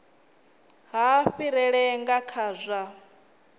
ha fhirela nga kha zwa